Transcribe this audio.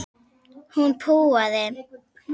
Hún púaði.